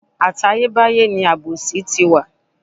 Àtayé báyé ni àbòsí ti wà.